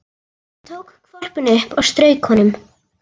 Hann tók hvolpinn upp og strauk honum.